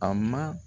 A ma